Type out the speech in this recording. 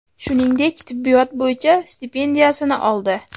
shuningdek tibbiyot bo‘yicha stipendiyasini oldi.